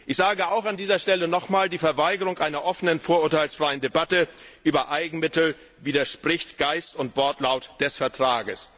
Ich sage auch an dieser Stelle noch einmal Die Verweigerung einer offenen vorurteilsfreien Debatte über Eigenmittel widerspricht Geist und Wortlaut des Vertrags!